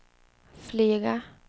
flyga